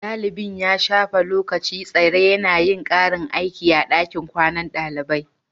Dalibin ya shafe lokacin tsare yana yin karin aiki a dakin kwanan dalibai